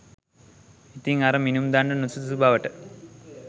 ඉතින් අර මිනුම් දණ්ඩ නුසුදුසු බවට